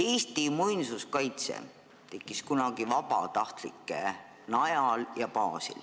Eesti muinsuskaitse tekkis kunagi vabatahtlike najal.